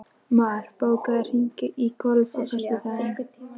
Mar, bókaðu hring í golf á föstudaginn.